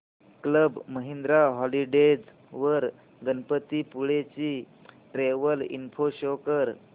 club Mahindra holidays वर गणपतीपुळे ची travel info show कर